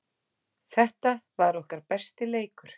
Þetta var okkar besti leikur.